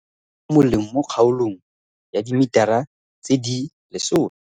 Palo ya dimela mo moleng mo kgaolong ya dimetara tse di lesome